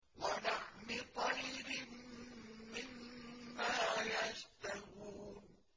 وَلَحْمِ طَيْرٍ مِّمَّا يَشْتَهُونَ